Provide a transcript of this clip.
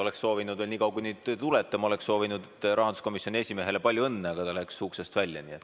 Oleksin vahepeal rahanduskomisjoni esimehele palju õnne soovinud, aga ta läks uksest välja.